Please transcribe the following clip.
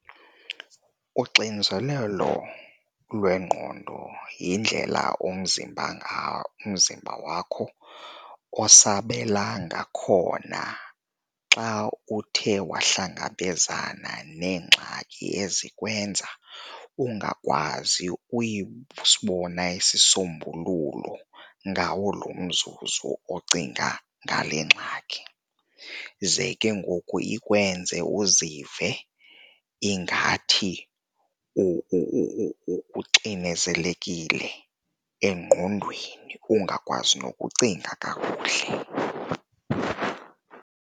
Unxinzelelo lwengqondo yindlela umzimba umzimba wakho osabela ngakhona xa uthe wahlangabezana neengxaki ezikwenza ungakwazi sibona isisombululo ngawo lo mzuzu ocinga ngale ngxaki, ze ke ngoku ikwenze uzive ingathi uxinezelekile engqondweni ungakwazi nokucinga kakuhle.